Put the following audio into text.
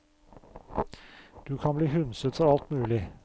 Du kan bli hundset for alt mulig.